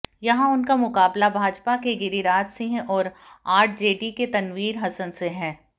यहां उनका मुकाबला भाजपा के गिरिराज सिंह और आरजेडी के तनवीर हसन से है